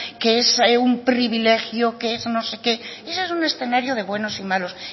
que es un privilegio que es no sé qué y ese es un escenario de buenos y malos